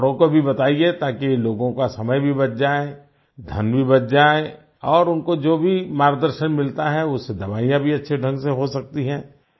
औरों को भी बताइए ताकि लोगों का समय भी बच जाए धन भी बच जाए और उनको जो भी मार्गदर्शन मिलता है उससे दवाईयाँ भी अच्छे ढंग से हो सकती हैं